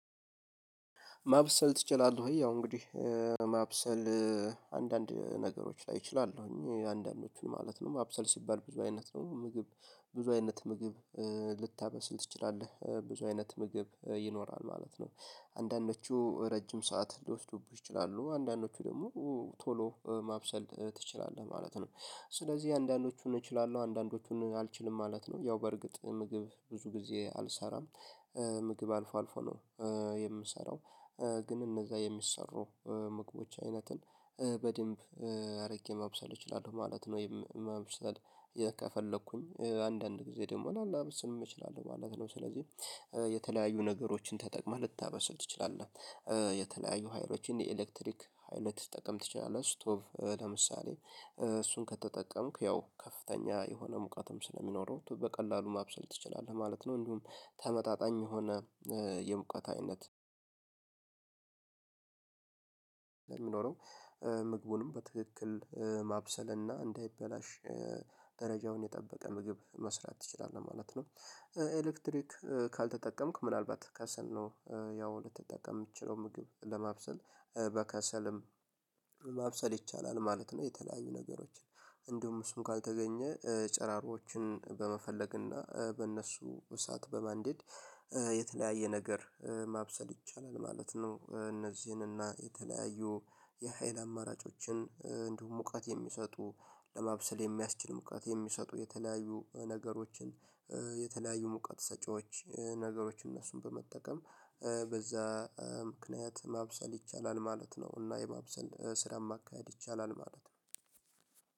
ማብሰል ትችላለህ ወይ? ያው እንግዲህ ማብሰል አንዳንድ ነገሮች ላይ እችላለሁኝ አንዳንዶቹን ማለት ነው ማብሰል ሲባል ብዙ አይነት ነው ምግብ ብዙ አይነት ምግብ ልታበስል ትችላለህ ብዙ አይነት ምግብ ይኖራል ማለት ነው። አንዳንዶቹ ረጅም ሰዓት ሊወስዱብህ ይችላሉ አንዳንዶቹ ደግሞ ቶሎ ማብሰል ትችላለህ ማለት ነው። ስለዚህ አንዳንዶቹን እችላለሁ አንዳንዶቹን አልችልም ማለት ነው። ያው በርግጥ ምግብ ብዙ ጊዜ አልሰራም ምግብ አልፎ አልፎ ነው የምሰራው። ግን እነዛ የሚሰሩ ምግቦች አይነትን በደንብ አርጌ ማብሰል እችላለሁ ማለት ነው። መብሰል ከፈለኩኝ አንዳንድ ጊዜ ደግሞ ላናበስል እንችላለን ማለት ነው። ስለዚህ የተለያዩ ነገሮችን ተጠቅመህ ልታበሰል ትችላለህ። የተለያዩ ሀይሎችን የኤሌክትሪክ ልትጠቀም ትችላለህ ስቶቭ ለምሳሌ እሱን ከተጠቀምክ ያው ከፍተኛ የሆነ ሙቀትም ስለሚኖረው በቀላሉ ማብሰል ትችላለህ ማለት ነው። እንዲሁም ተመጣጣኝ የሆነ የሙቀት አይነት ሚኖረው ምግቡንም በትክክል ማብሰልና እንዳይበላሽ ደረጃውን የጠበቀ ምግብ መስራት ትችላለህ ማለት ነው። ኤሌክትሪክ ካልተጠቀምክ ምናልባት ከሰል ነው ያው ልትጠቀም የምትችለው ምግብ ለማብሰል በከሰልም ማብሰል ይቻላል ማለት ነው። የተለያዩ ነገሮችን እንደውም እሱን ካልተገኘ ጨራሮችን በመፈለግ እና በእነሱ እሳት በማንደድ የተለያየ ነገር ማብሰል ይቻላል ማለት ነው። እነዚህንና የተለያዩ የሀይል አማራጮችን እንዲሁም ሙቀት የሚሰጡ ለማብሰል የሚያስችል ሙቀት የሚሰጡ የተለያዩ ነገሮችን የተለያዩ ሙቀት ሰጪዎች ነገሮች እነሱን በመጠቀም በዛ ምክንያት ማብሰል ይቻላል ማለት ነው። እና የማብሰል ስራን ማካሄድ ይቻላል ማለት ነው።